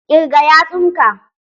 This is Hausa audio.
Ƙirga yatsun ka!